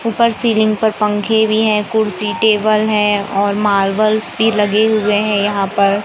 ऊपर सीलिंग पर पंखे भी हैं कुर्सी टेबल है और मार्बल्स भी लगे हुए हैं यहां पर।